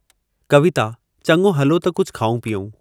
कविता: चङो हलो त कुझु खाऊं पीऊं।